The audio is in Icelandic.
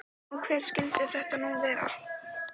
Og hver skyldi þetta nú vera?